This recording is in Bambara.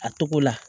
A togo la